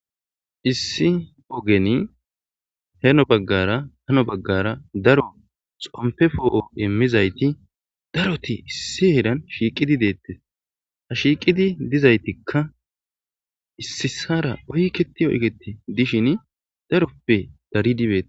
issi ogeni heno baggara hano baggara daro xompe foo7o immizayti daroti issi heedan shiiqidi deettes ha shiiqidi dizaytikka issisara oyketi oykete dishin daroppe daridi bee.